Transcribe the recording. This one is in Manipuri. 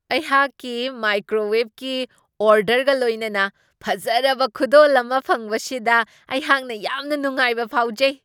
ꯑꯩꯍꯥꯛꯀꯤ ꯃꯥꯏꯀ꯭ꯔꯣꯋꯦꯕꯀꯤ ꯑꯣꯔꯗꯔꯒ ꯂꯣꯏꯅꯅ ꯐꯖꯔꯕ ꯈꯨꯗꯣꯜ ꯑꯃ ꯐꯪꯕꯁꯤꯗ ꯑꯩꯍꯥꯛꯅ ꯌꯥꯝꯅ ꯅꯨꯡꯉꯥꯏꯕ ꯐꯥꯎꯖꯩ ꯫